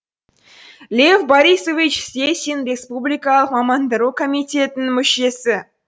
лев борисович стесин республикалық мамандандыру комитетінің мүшесі